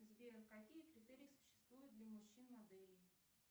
сбер какие критерии существуют для мужчин моделей